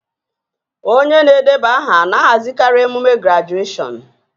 Onye na-edeba aha na-ahazikarị emume grajueshọn